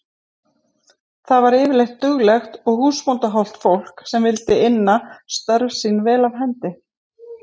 Þetta var yfirleitt duglegt og húsbóndahollt fólk sem vildi inna störf sín vel af hendi.